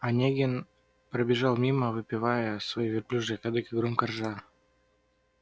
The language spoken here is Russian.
онегин пробежал мимо выпивая свой верблюжий кадык и громко ржа